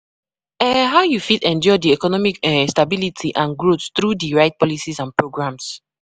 um how you fit ensure di economic um stability and growth through di right policies and programs?